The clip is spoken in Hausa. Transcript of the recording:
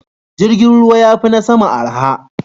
Jirgin ruwa ya fi na sama arha.